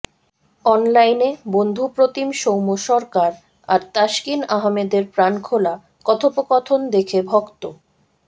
অনলাইনে বন্ধুপ্রতিম সৌম্য সরকার আর তাসকিন আহমেদের প্রাণখোলা কথোপকথন দেখে ভক্ত